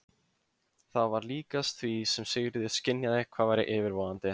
Það var líkast því sem Sigríður skynjaði hvað væri yfirvofandi.